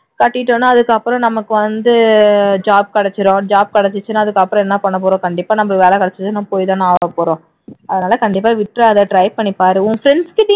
கட்டிட்டோம்னா அதுக்கு அப்புறம் நமக்கு வந்து job கிடைச்சிரும் job கிடைச்சிருச்சினா அதுக்கு அப்புறம் என்ன பண்ணபபோறோம் கண்டிப்பா நமக்கு வேலை வேலை கிடைச்சதுனா போய்தான ஆகப்போறோம அதுனால கண்டிப்பா விட்றாத try பண்ணிப்பாரு